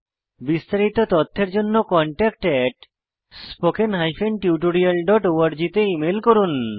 বিস্তারিত তথ্যের জন্য contactspoken tutorialorg তে ইমেল করুন